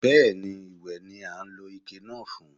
Bẹ́ẹ̀ni, ìwẹ̀ ni a ń lo ike náà fún.